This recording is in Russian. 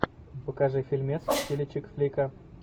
покажи фильмец в стиле чикфлика